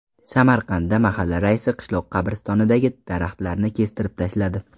Samarqandda mahalla raisi qishloq qabristonidagi daraxtlarni kestirib tashladi.